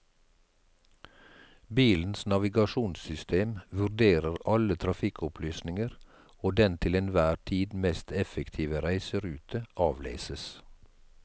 Bilens navigasjonssystem vurderer alle trafikkopplysninger, og den til enhver tid mest effektive reiserute avleses.